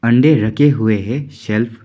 अंडे रखे हुए है शेल्फ --